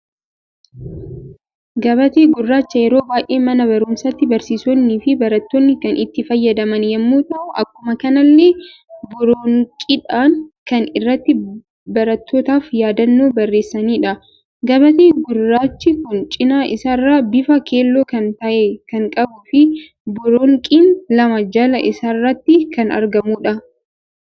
Gabaatee Gurraacha yeroo baay'ee mana barumsaatti barsiisoonni fi barattoonni kan itti fayyadaman yemmu ta'u, Akkuma kanallee boroonqiidhan kan irratti barattootaf yaadannoo barreessanidha. Gabatee gurraachi kun cina isaa irraa bifa keelloo kan tahe kan qabuu fi boroonqiin lama jalaa isarratti kan argamudha.